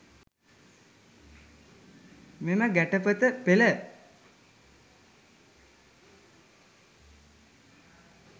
මෙම ගැටපද පෙළ